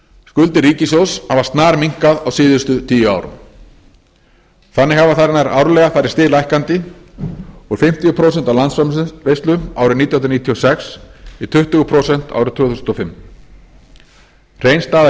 skuldir ríkissjóðs hafa snarminnkað á síðustu tíu árum þannig hafa þær nær árlega farið stiglækkandi úr fimmtíu prósent af landsframleiðslu árið nítján hundruð níutíu og sex í tuttugu prósent árið tvö þúsund og fimm hrein staða